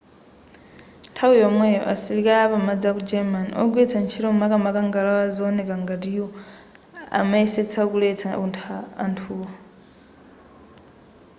nthawi yomweyo asilikali apamadzi aku germany ogwiritsa ntchito makamaka ngalawa zowoneka ngati u amayesetsa kuletsa anthuwo